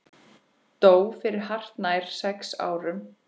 Dó fyrir hartnær sex árum.